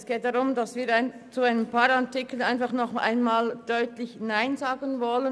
Es geht darum, dass wir zu einigen Artikeln erneut deutlich Nein sagen wollen.